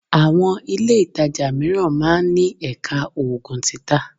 Àwọn ilé ìtajà mìíràn máa ń ní Ẹ̀ka Oògùn títa